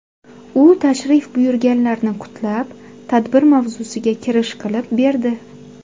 U tashrif buyurganlarni qutlab, tadbir mavzusiga kirish qilib berdi.